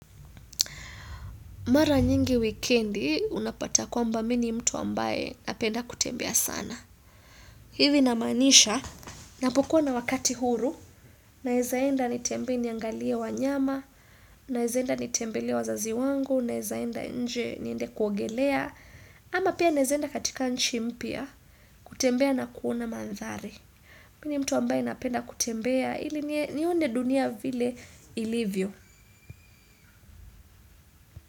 Mara nyingi weekendi, unapata kwamba mi ni mtu ambaye napenda kutembea sana. Hivi namaanisha, napokuwa na wakati huru, naizaenda nitembee niangalie wanyama, naeza enda nitembelee wazazi wangu, naeza enda nje niende kuogelea. Ama pia naeza enda katika nchi mpya, kutembea na kuona mandhari. Mini mtu ambaye napenda kutembea, hili nione dunia vile ilivyo.